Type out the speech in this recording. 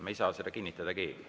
Me ei saa seda kinnitada keegi.